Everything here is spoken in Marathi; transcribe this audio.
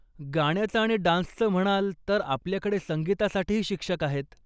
गाण्याचं आणि डान्सचं म्हणाल तर आपल्याकडे संगीतासाठीही शिक्षक आहेत.